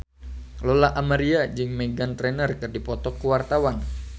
Lola Amaria jeung Meghan Trainor keur dipoto ku wartawan